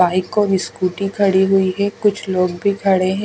Bike और scooty खड़ी हुई है कुछ लोग भी खड़े हैं।